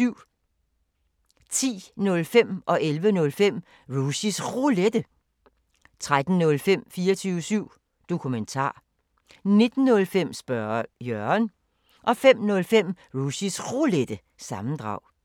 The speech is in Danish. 10:05: Rushys Roulette 11:05: Rushys Roulette, fortsat 13:05: 24syv Dokumentar 19:05: Spørge Jørgen 05:05: Rushys Roulette – sammendrag